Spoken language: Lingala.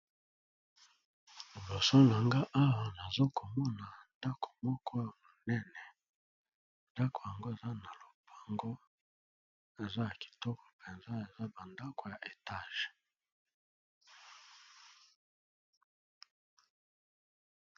Liboso na nga nazomona ndako ya monene eza ya Etage nakati ya lopango